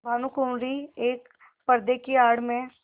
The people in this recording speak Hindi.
भानुकुँवरि एक पर्दे की आड़ में